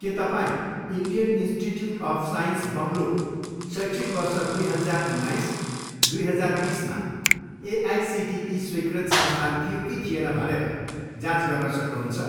के तपाईँँ Indian Institute of Science Bangalore शैक्षिक वर्ष दुई हजार उन्नाइस, दुई हजार बिसमा एआइसिटिई स्वीकृत संस्थान थियो कि थिएन भनेर जाँच गर्न सक्नुहुन्छ?